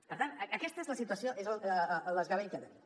per tant aquesta és la situació és el desgavell que tenim